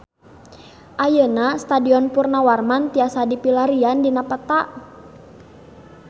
Ayeuna Stadion Purnawarman tiasa dipilarian dina peta